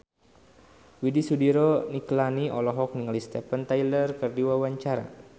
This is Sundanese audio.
Widy Soediro Nichlany olohok ningali Steven Tyler keur diwawancara